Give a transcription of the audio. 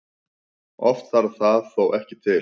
Oft þarf það þó ekki til.